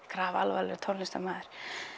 grafalvarlegur tónlistarmaður